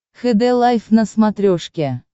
хд лайф на смотрешке